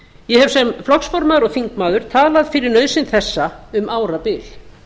ég hef sem flokksformaður og þingmaður talað fyrir nauðsyn þessa um árabil